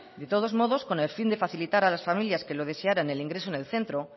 de todos modos con el fin de facilitar a las familias que lo desearan el ingreso en el centro